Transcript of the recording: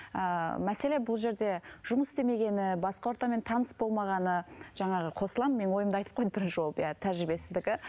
ыыы мәселе бұл жерде жұмыс істемегені басқа ортамен таныс болмағаны жаңағы қосыламын мен ойымды айтып қойдым бірінші болып иә тәжірибесіздігі